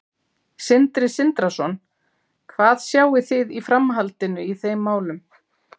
Sindri Sindrason: Hvað sjáið þið í framhaldinu í þeim málum?